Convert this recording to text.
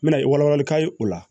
Me na i wala walali ka ye o la